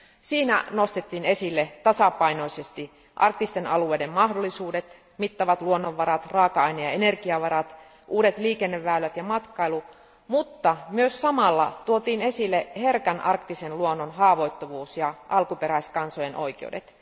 Siinä nostettiin esille tasapainoisesti arktisten alueiden mahdollisuudet, mittavat luonnonvarat, raaka aine ja energiavarat, uudet liikenneväylät ja matkailu, mutta myös samalla tuotiin esille herkän arktisen luonnon haavoittuvuus ja alkuperäiskansojen oikeudet.